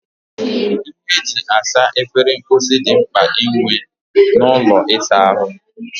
Ihe eji esa efere mposi dị mkpa inwe n'ụlọ ịsa ahụ